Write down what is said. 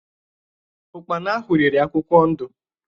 Ụ́kpara ahụ riri akwụkwọ ndụ.